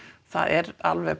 það er alveg